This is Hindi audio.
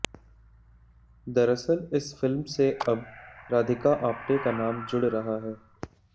दरअसल इस फिल्म से अब राधिका आप्टे का नाम जुड़ रहा है